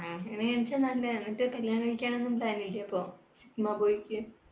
കല്യാണം കഴിക്കാൻ ഒന്നും plan ഇല്ലേ അപ്പൊ sigma boy ക്ക്